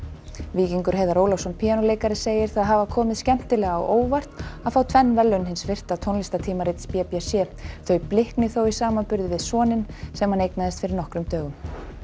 Víkingur Heiðar Ólafsson píanóleikari segir það hafa komið skemmtilega á óvart að fá tvenn verðlaun hins virta tónlistartímarits b b c þau blikni þó í samanburði við soninn sem hann eignaðist fyrir nokkrum dögum